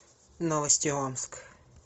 новости омск